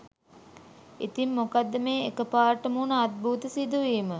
ඉතින් මොකක්ද මේ එක පාරට වුන අද්භූත සිදුවීම.